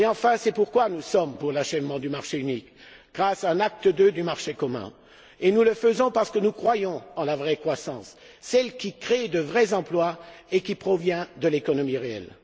Enfin, c'est pourquoi nous sommes pour l'achèvement du marché unique, grâce à l'acte pour le marché unique II. Nous le faisons parce que nous croyons en la vraie croissance, celle qui crée de vrais emplois et qui provient de l'économie réelle.